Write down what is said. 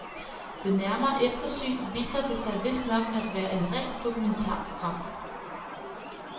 Ved nærmere eftersyn viser det sig vistnok at være et rent dokumentarprogram.